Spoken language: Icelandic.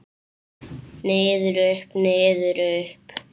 Niður, upp, niður upp.